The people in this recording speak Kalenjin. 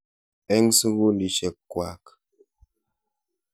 Eng' sukulisyek kwak.